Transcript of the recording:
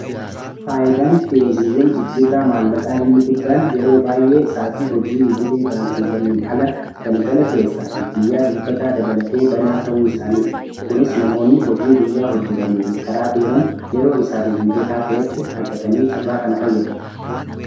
faayidaan kiyooziiwwan jijjirraa maallaqaa inni guddaan yeroo baayee isaatii hojii idilee baankiiwwanin ala galgala keessaa fi guyyaa dilbataa dabalatee banaa ta'uu isaaniiti kunis namoonni hojii guyyaa hojjetaniifi karaa deeman yeroo isaaniif mijataa ta'etti argatanii carraa kana fayyadamu